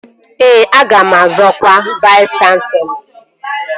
Ee, aga m azọ ọkwa Vais kanselọ